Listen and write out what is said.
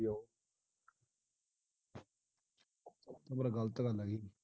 ਪਰ ਆਹ ਗਲਤ ਗੱਲ ਹੈਗੀ